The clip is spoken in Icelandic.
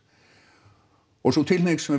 og sú tilhneiging